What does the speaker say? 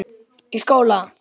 Í skóla?